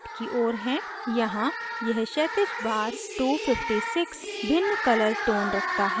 यहाँ यह क्षैतिज bar 256 भिन्न colour tones रखता है